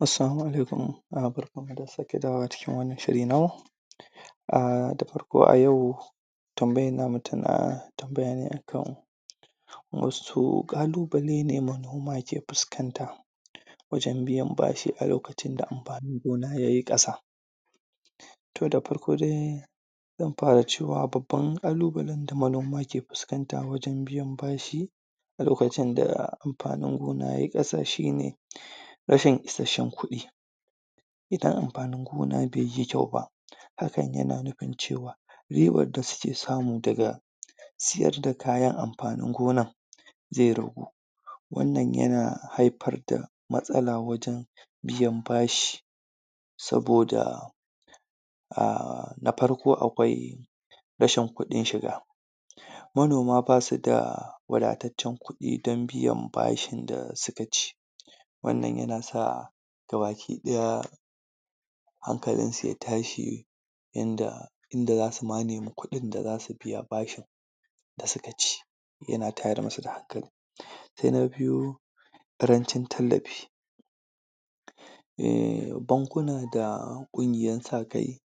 Assalamu Alaikum, uhm barkanmu da sake dawowa cikin wannan shiri namu. uhm dafarko ayau tambayan namu tana tambayane akan wasu ƙalubale ne manoma ke fuskanta wajen biyan bashi a lokacin da amfanin gona yayi ƙasa to dafarko dai zan fara cewa babban ƙalubalen da manoma ke fuskanta wajen biyan bashi. a lokacin da amfanin gona yayi ƙasa shine rashin isasshen kuɗi idan amfanin gona bai yi kyau ba hakan yana nufin cewa ribar da suke samu daga siyar da kayan amfanin zai ragu wannan yana haifar da matsala wajen biyan bashi saboda uhm na farko akwai rashin kuɗin shiga Manoma basu da wadataccen kuɗi don biyan bashin da suka ci wannan yana sa gabakiɗaya hankalinsu ya tashi inda inda za su ma nemi kuɗin da zasu biya bashin da suka ci yana tayar musu da hankali Sai na biyu ƙarancin tallafi uhm bankuna da ƙungiyan sa kai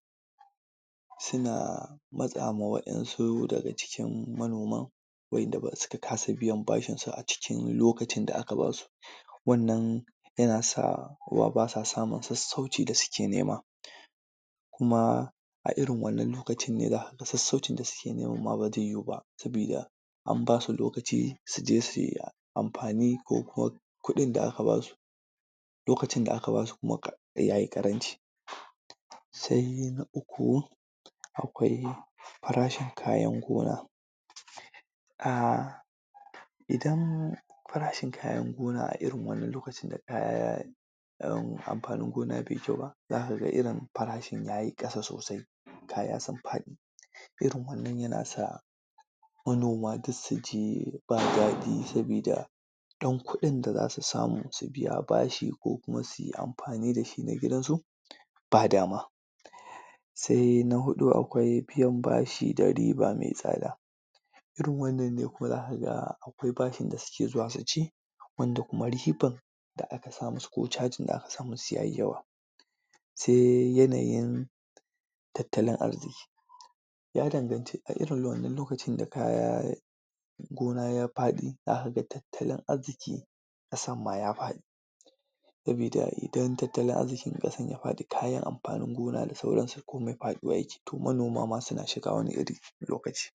suna matsa ma waɗansu daga cikin manoman wa'inda suka kasa biyan bashinsu a cikin lokacin da aka basu Wannan yana sa basa samun sassauci da suke nema kuma a irin wannan lokacin ne zakaga sassaucin da suke neman ma ba zai yu ba sabida an basu lokaci su je su yi amfani ko kuma kuɗin da aka basu lokacin da aka basu kuma yayi ƙaranci Sai na uku akwai farashin kayan gona uhm idan farashin kayan gona a irin wannan lokacin da kaya uhm amfanin gona baiyi kyau ba, za ka ga irin farashin yayi ƙasa sosai kaya sun faɗi. irin wannan yanasa manoma duk suji ba dadi sabida ɗan kuɗin da za su samu su biya bashi ko kuma su badama Sai na huɗu akwai biyan bashi da riba mai tsada, Irin wannan ne kuma za ka ga akwai bashin da suke zuwa su ci wanda kuma ribar da aka sa musu ko cajin da aka sa musu yayi yawa Sai yanayin tattalin arziki ya danganci a irin wannan lokacin da kaya gona ya faɗi za ka ga tattalin arzikin ƙasan ma ya faɗi sabida idan tattalin arzikin ƙasan ya faɗi kayan amfanin gona da sauransu komi faɗuwa yake to manoma ma suna shiga wani iri lokaci